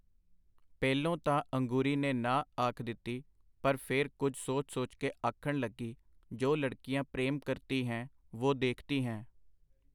ਪਹਿਲੋਂ ਤਾਂ ਅੰਗੂਰੀ ਨੇ ਨਾਂਹ” ਆਖ ਦਿੱਤੀ, ਪਰ ਫੇਰ ਕੁਝ ਸੋਚ ਸੋਚ ਕੇ ਆਖਣ ਲੱਗੀ, ਜੋ ਲੜਕੀਆਂ ਪ੍ਰੇਮ ਕਰਤੀ ਹੈਂ, ਵੁਹ ਦੇਖਤੀ ਹੈਂ .